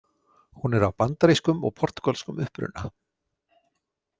Hún er af bandarískum og portúgölskum uppruna.